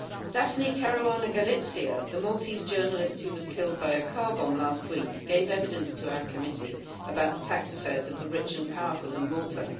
Daphne Caruana Galizia, the Maltese journalist who was killed by a car bomb last week, gave evidence to our committee about the tax affairs of the rich and powerful in Malta.